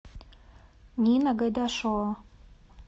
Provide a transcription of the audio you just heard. нина гайдашова